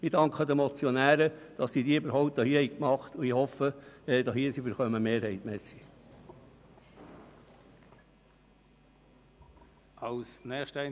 Ich danke den Motionären für ihre Initiative und hoffe, dass sie die Mehrheit bekommen.